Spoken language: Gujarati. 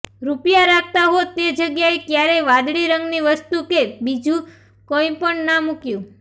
રૂપિયા રાખતા હો તે જગ્યાએ ક્યારેય વાદળી રંગની વસ્તુ કે બીજું કંઈપણ ના મૂકયું